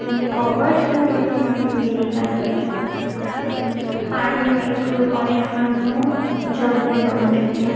કોવર્સ એવુ બધુ મને દેખાઈ રહ્યુ છે ઉમ્મ પાણીનું એક ઓરેન્જ કલર નું એક જગ ભી પડ્યો છે ત્યાં.